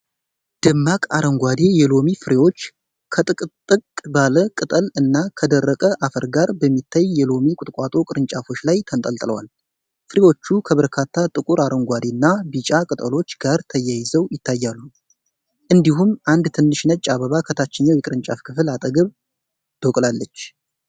ደማቅ አረንጓዴ የሎሚ ፍሬዎች ከጥቅጥቅ ባለ ቅጠል እና ከደረቀ አፈር ጋር በሚታይ የሎሚ ቁጥቋጦ ቅርንጫፎች ላይ ተንጠልጥለዋል። ፍሬዎቹ ከበርካታ ጥቁር አረንጓዴና ቢጫ ቅጠሎች ጋር ተያይዘው ይታያሉ፤ እንዲሁም አንድ ትንሽ ነጭ አበባ ከታችኛው የቅርንጫፍ ክፍል አጠገብ ተብቅቃለች።